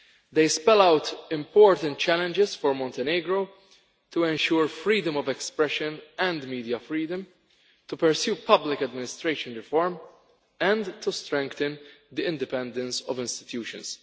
They spell out important challenges for Montenegro to ensure freedom of expression and media freedom, to pursue public administration reform, and to strengthen the independence of institutions.